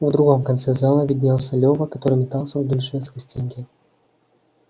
в другом конце зала виднелся лёва который метался вдоль шведской стенки